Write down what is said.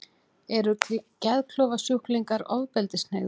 Eru geðklofasjúklingar ofbeldishneigðir?